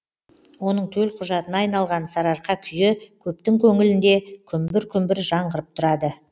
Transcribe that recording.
оның төлқұжатына айналған сарыарқа күйі көптің көңілінде күмбір күмбір жаңғырып тұрады